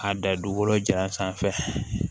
A da dugukolo ja sanfɛ